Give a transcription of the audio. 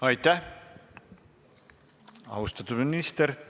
Aitäh, austatud minister!